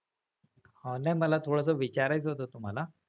हा नाही मला थोडस विचारायचं होत तुम्हाला.